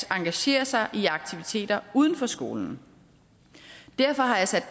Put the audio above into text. engagere sig i aktiviteter uden for skolen derfor har jeg sat